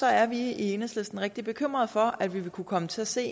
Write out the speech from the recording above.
er vi i enhedslisten rigtig bekymret for at vi vil kunne komme til at se